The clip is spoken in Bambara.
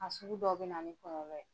A sugu dɔw be na ni kɛɲɛkɛ ye.